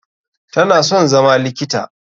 Tana son zama likita.